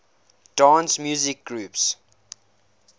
dance music groups